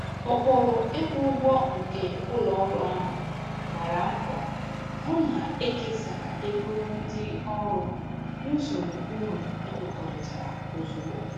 Ụkpụrụ ịkwụ ụgwọ nke ụlọ ọrụ ahụ gbara mbọ hụ na ekesara ego ndị ọrụ n'usoro uru ekwekọrịtara ozugbo.